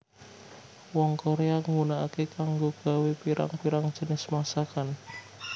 Wong Korea nggunakake kanggo gawé pirang pirang jinis masakan